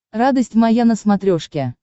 радость моя на смотрешке